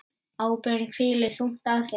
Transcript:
Ábyrgð hvílir þung á þér.